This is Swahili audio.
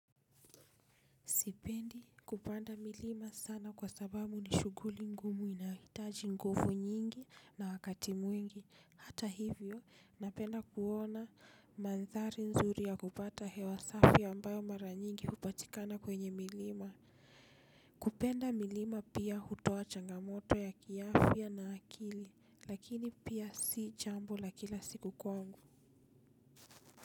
Sipendi kupanda milima sana kwa sababu ni shughuli ngumu inahitaji nguvu nyingi na wakati mwingi hata hivyo napenda kuona mandhari nzuri ya kupata hewa safi ambayo mara nyingi hupatikana kwenye milima. Kupenda milima pia hutoa changamoto ya kiafya na akili lakini pia si jambo la kila siku kwangu.